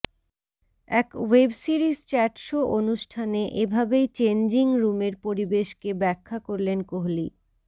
এক web series chat show অনুষ্ঠানে এভাবেই চেঞ্জিংরুমের পরিবেশকে ব্যাখা করলেন কোহলি